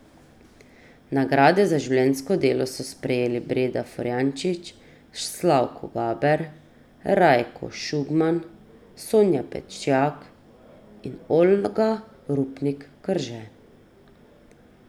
Nagrade za življenjsko delo so prejeli Breda Forjanič, Slavko Gaber, Rajko Šugman, Sonja Pečjak in Olga Rupnik Krže.